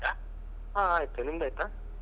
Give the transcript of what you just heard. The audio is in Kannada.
ಹಾ ಆಯ್ತು ನಿಮ್ದ್ ಆಯ್ತಾ?